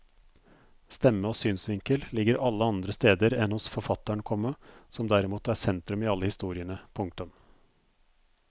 Stemme og synsvinkel ligger alle andre steder enn hos forfatteren, komma som derimot er sentrum i alle historiene. punktum